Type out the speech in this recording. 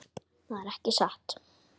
Það er ekki satt.